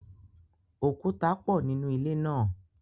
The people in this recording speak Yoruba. Òkúta pọ nínú ilé náà.